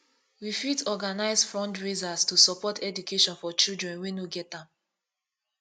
we fit organize fundraisers to support education for children wey no get am